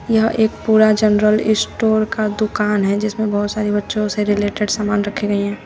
यह एक पूरा जनरल स्टोर का दुकान है जिसमें बहोत सारे बच्चों से रिलेटेड सामान रखी गई हैं।